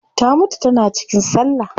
Ta mutu tana cikin sallah